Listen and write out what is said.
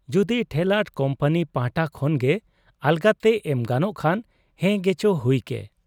ᱡᱩᱫᱤ ᱴᱷᱮᱨᱞᱟᱴ ᱠᱩᱢᱯᱟᱱᱤ ᱯᱟᱦᱴᱟ ᱠᱷᱚᱱᱜᱮ ᱟᱞᱟᱜᱽᱛᱮ ᱮᱢ ᱜᱟᱱᱚᱜ ᱠᱷᱟᱱ, ᱦᱮᱸᱜᱮᱪᱚ ᱦᱩᱭᱠᱮ ᱾